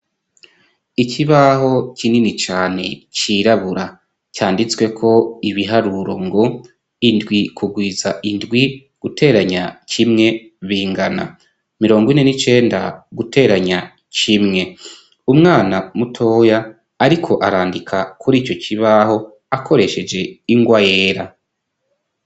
Ikibaho kinini cane cirabura canditswe ko ibiharuro ngo indwi kugwiza indwi guteranya kimwe bingana mirongo ine n'icenda guteranya kimwe umwana mutoya ariko arandika kuri ico kibaho akoresheje ingwa yera.